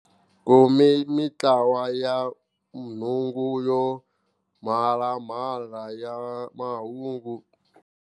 Ku mi mintlawa ya nhungu yo mhalamhala ya mahungu.